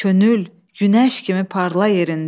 Könül, günəş kimi parla yerində.